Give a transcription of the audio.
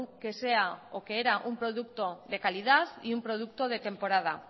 que era un producto de calidad y un producto de temporada